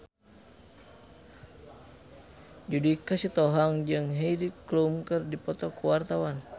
Judika Sitohang jeung Heidi Klum keur dipoto ku wartawan